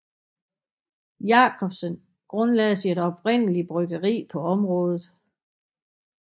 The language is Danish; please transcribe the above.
Jacobsen grundlagde sit oprindelige bryggeri på området